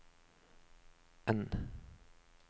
N